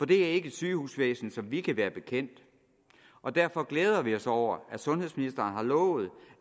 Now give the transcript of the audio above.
det er ikke et sygehusvæsen som vi kan være bekendt og derfor glæder vi os over at sundhedsministeren har lovet